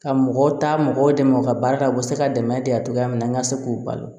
Ka mɔgɔw taa mɔgɔw dɛmɛ u ka baara la u bɛ se ka dɛmɛ de a cogoya min na an ka se k'u balo